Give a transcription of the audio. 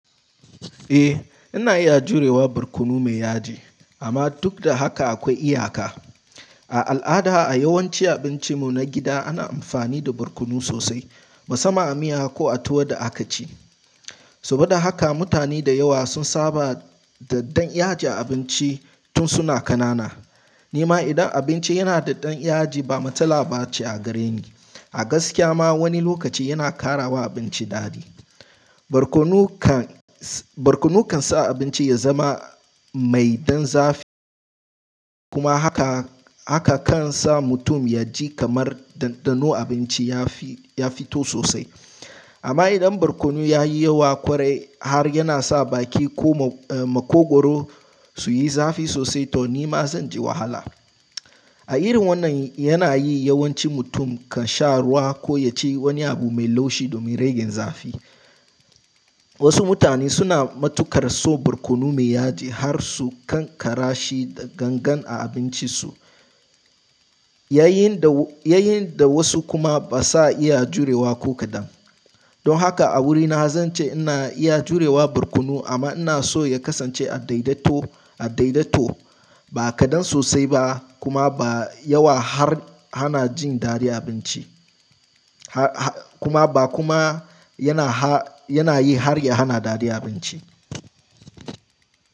Eh, ana iya jurewa barkono mai yaji, amma dukda haka aƙwai iyaka. A al'ada, a yawanci abincin mu na gida ana amfani da barkono sosai, musamman a miya ko a tuwo da akaci. Saboda haka mutane da yawa sun saba da ɗan yaji a abinci tun suna ƙanana. Nima idan abinci yana da ɗan yaji ba matsala bace a gareni. A gaskiya ma wani lokaci yana ƙarawa abinci daɗi. Barkono kan, barkono kan sa abinci ya zama mai ɗan zafi kuma haka, haka kan sa mutum ya ji kamar ɗanɗano abinci ya fi, ya fito sosai. Amma idan barkono yayi yawa ƙwarai har yana sa baki ko makogoro suyi zafi sosai to nima zanji wahala. A irin wannan yanayi yawanci mutum kan sha ruwa ko yaci wani abu mai laushi domin rage zafi. Wasu mutane suna matukar so barkono mai yaji harsu ƙanƙara shi da gangan a abincin su. Yayin da, yayin da wasu kuma ba sa iya jurewa ko kaɗan. Don haka a wurina zance ina iya jurewa barkono amma inaso ya kasance a daidaito, a daidaito. Ba kaɗan sosai ba kuma ba yawa har hana jin daɗin abinci. Kuma ba kuma yana har, yana yi harya hana daɗi abinci.